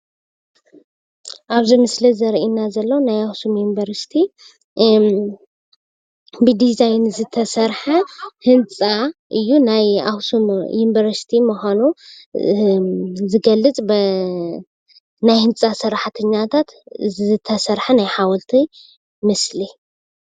ኣብዚ ምስሊ ዘርእየና ዘሎ ናይ ኣክሱም ዩኒቨርሲቲ ብዲዛይን ዝተሰርሐ ህንፃ እዩ፡፡ ናይ ኣክሱም ዩኒቨርሲቲ ምዃኑ ዝገልፅ ብናይ ህንፃ ሰራሕተኛታታት ዝተሰርሐ ናይ ሓወልቲ ምስሊ።